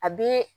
A bɛ